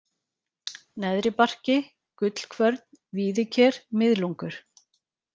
Neðri-Barki, Gullkvörn, Víðiker, Miðlungur